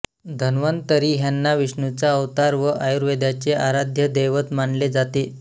धन्वंतरी ह्यांना विष्णूचा अवतार व आयुर्वेदाचे आराध्य दैवत मानले जाते